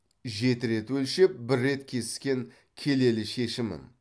жеті рет өлшеп бір рет кескен келелі шешімім